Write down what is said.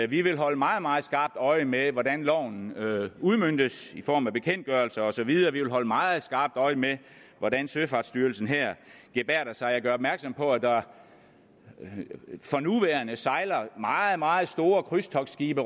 vi vil holde meget meget skarpt øje med hvordan loven udmøntes i form af bekendtgørelser og så videre vi vil holde meget skarpt øje med hvordan søfartsstyrelsen her gebærder sig jeg gør opmærksom på at der for nuværende sejler meget meget store krydstogtskibe